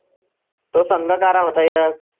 तो संघ कारा होता यात